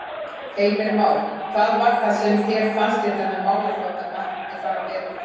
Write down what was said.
Heimir Már: Hvað var það sem þér fannst við þennan málaflokk að mætti fara betur?